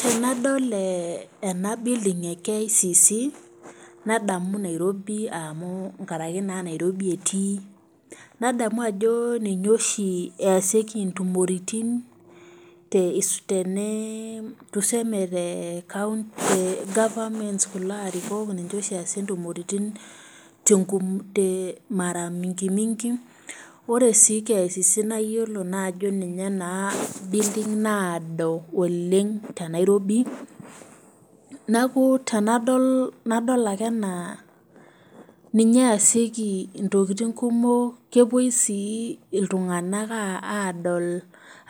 Tenadol ee ena building, ene KICC nadamu Nairobi amu nkaraki naa Nairobi etii, nadamu ajo ninye oshi easioki intumoritin tuseme the governments kulo arikok duo oshi aeasie intumoritin mara mingi mingi ore sii KICC naa iyiolo naa ajo ninye naa building naado oleng' tenairobi, neeku tenadol nadol ake anaa ninye easioki intokitin kumok kepoi sii iltunganak aadol